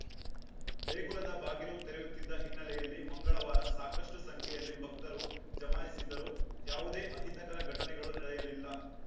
ದೇಗುಲದ ಬಾಗಿಲು ತರೆಯುತ್ತಿದ್ದ ಹಿನ್ನೆಲೆಯಲ್ಲಿ ಮಂಗಳವಾರ ಸಾಕಷ್ಟುಸಂಖ್ಯೆಯಲ್ಲಿ ಭಕ್ತರು ಜಮಾಯಿಸಿದ್ದರು ಯಾವುದೇ ಅಹಿತಕರ ಘಟನೆಗಳು ನಡೆಯಲಿಲ್ಲ